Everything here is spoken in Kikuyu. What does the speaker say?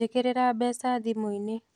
Njĩkĩrĩra mbeca thĩmũ-inĩ.